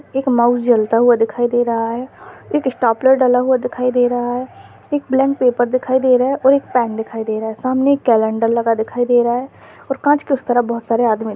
एक माउस जलता हुआ दिखाई दे रहा है एक स्टाप्लार डला हुआ दिखाई दे रहा है एक ब्लेंक पेपर दिखाई दे रहा है और एक पेन दिखाई दे रहा है सामने एक कैलेंडर लगा दिखाई दे रहा है और काच के उस तरफ बहुत सारे आदमी --